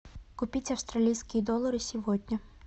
купить австралийские доллары сегодня